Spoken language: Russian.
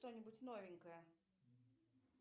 что нибудь новенькое